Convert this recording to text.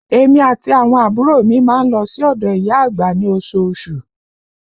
Èmi àti àwọn àbúrò mi má ń lọ sí odò ìyá àgbà ní osoosù